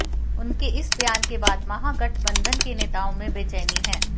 उनके इस बयान के बाद महागठबंधन के नेताओं में बचैनी है